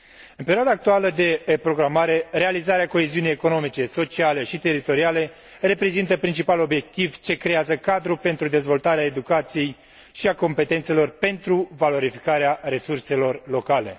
În perioada actuală de programare, realizarea coeziunii economice, sociale și teritoriale reprezintă principalul obiectiv ce creează cadrul pentru dezvoltarea educației și a competențelor pentru valorificarea resurselor locale.